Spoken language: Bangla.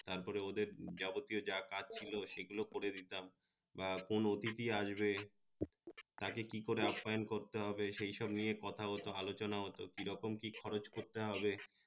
তার পরে ওদের যাবতীয় যা কাজ ছিলো সে গুলো করে দিতাম বা কোন অতিথি আসবে তাকে কি করে আপ্যায়ন করতে হবে সেই সব নিয়ে কথা হত আলোচনা হত কি রকম কি খরচ করতে হবে